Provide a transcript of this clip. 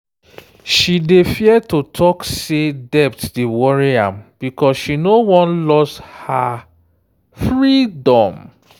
she dey fear to talk say debt dey worry am because she no wan lose her freedom.